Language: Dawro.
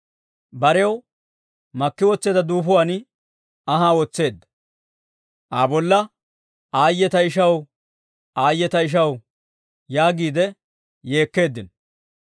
Barew makki wotseedda duufuwaan anhaa wotseedda; Aa bolla, «Aayye ta ishaw! Aayye ta ishaw!» yaagiide yeekkeeddino.